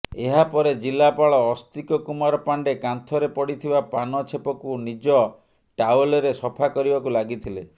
ଏହାପରେ ଜିଲ୍ଲାପାଳ ଅସ୍ତିକ କୁମାର ପାଣ୍ଡେ କାନ୍ଥରେ ପଡିଥିବା ପାନ ଛେପକୁ ନିଜ ଟାୱେଲ୍ରେ ସଫା କରିବାକୁ ଲାଗିଥିଲେ